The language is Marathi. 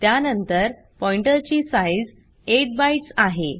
त्यानंतर पॉईन्टरची साइज़ 8 बाइट्स आहे